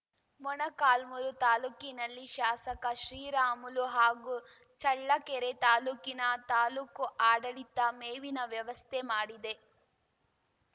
ಮೊಳಕಾಲ್ಮುರು ತಾಲೂಕಿನಲ್ಲಿ ಶಾಸಕ ಶ್ರೀರಾಮುಲು ಹಾಗೂ ಚಳ್ಳಕೆರೆ ತಾಲೂಕಿನ ತಾಲೂಕು ಆಡಳಿತ ಮೇವಿನ ವ್ಯವಸ್ಥೆ ಮಾಡಿದೆ